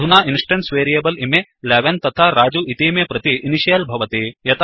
अधुना instance variable इमे 11तथा रजु इतीमे प्रति इनिशियल्भवति